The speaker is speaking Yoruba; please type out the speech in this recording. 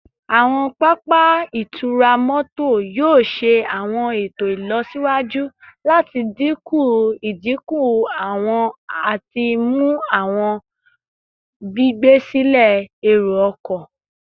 Awọn papa itura mọto yoo ṣe awọn eto ilọsiwaju lati dinku idinku ati mu awọn gbigbe silẹ ero-ọkọ